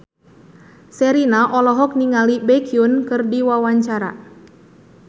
Sherina olohok ningali Baekhyun keur diwawancara